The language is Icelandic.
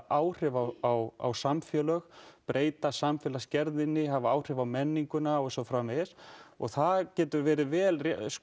áhrif á samfélög breyta samfélagsgerðinni hafa áhrif á menninguna og svo framvegis og það getur verið vel